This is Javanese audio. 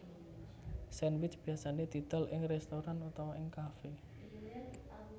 Sandwich biasane didol ing restoran utawa ing cafe